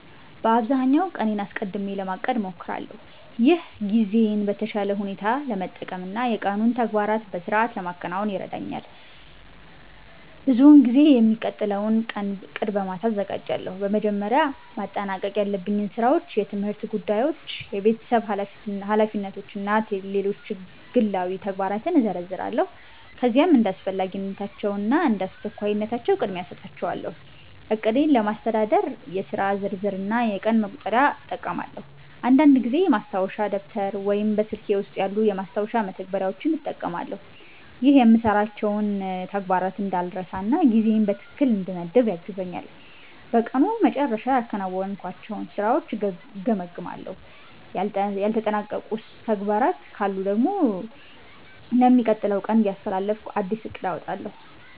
በአብዛኛው ቀኔን አስቀድሜ ለማቀድ እሞክራለሁ። ይህ ጊዜዬን በተሻለ ሁኔታ ለመጠቀም እና የቀኑን ተግባራት በሥርዓት ለማከናወን ይረዳኛል። ብዙውን ጊዜ የሚቀጥለውን ቀን ዕቅድ በማታ አዘጋጃለሁ። በመጀመሪያ ማጠናቀቅ ያለብኝን ሥራዎች፣ የትምህርት ጉዳዮች፣ የቤተሰብ ኃላፊነቶች እና ሌሎች ግላዊ ተግባራትን እዘረዝራለሁ። ከዚያም እንደ አስፈላጊነታቸው እና እንደ አስቸኳይነታቸው ቅድሚያ እሰጣቸዋለሁ። ዕቅዴን ለማስተዳደር የሥራ ዝርዝር እና የቀን መቁጠሪያ እጠቀማለሁ። አንዳንድ ጊዜ ማስታወሻ ደብተር ወይም በስልኬ ውስጥ ያሉ የማስታወሻ መተግበሪያዎችን እጠቀማለሁ። ይህ የምሠራቸውን ተግባራት እንዳልረሳ እና ጊዜዬን በትክክል እንድመድብ ያግዘኛል። በቀኑ መጨረሻ ያከናወንኳቸውን ሥራዎች እገመግማለሁ። ያልተጠናቀቁ ተግባራት ካሉ ደግሞ ለሚቀጥለው ቀን እያስተላለፍኩ አዲስ ዕቅድ አወጣለሁ።